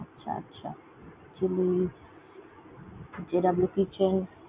আচ্ছা আচ্ছা। JW Kitchen